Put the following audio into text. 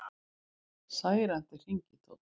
Særandi hringitónn